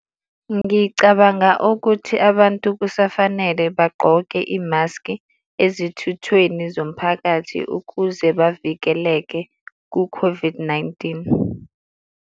Ngicabanga ukuthi abantu kusafanele bagqoke imaski ezithuthweni zomphakathi ukuze bavikeleke ku-COVID-19.